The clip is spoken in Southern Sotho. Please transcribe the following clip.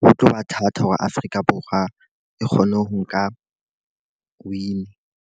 ho tloba thata hore Afrika Borwa e kgone ho nka win.